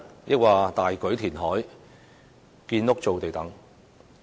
抑或是大舉填海、造地建屋呢？